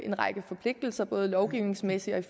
en række forpligtelser både lovgivningsmæssigt og i